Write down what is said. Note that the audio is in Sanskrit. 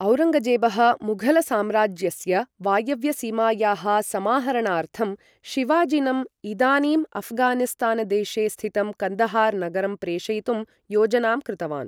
औरङ्गजेबः मुघलसाम्राज्यस्य वायव्यसीमायाः समाहरणार्थं, शिवाजिनम्, इदानीं अऴ्घानिस्तानदेशे स्थितं कन्दहार् नगरं प्रेषयितुं योजनां कृतवान्।